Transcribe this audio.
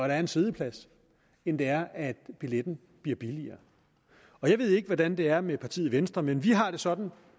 er en siddeplads end det er at billetten bliver billigere jeg ved ikke hvordan det er med partiet venstre men vi har det sådan